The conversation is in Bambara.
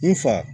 N fa